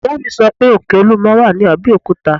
Ìyá mi sọ pé òkè olúmọ wà ní Abẹ́òkúta